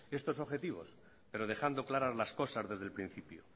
estos objetivo pero dejando claras las cosas desde el principio